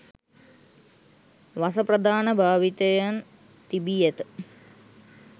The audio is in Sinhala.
වස ප්‍රධාන භාවිතයන් තිබී ඇත